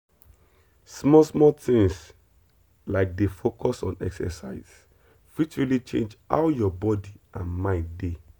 small small things like dey focus on exercise fit really change how your body and mind dey.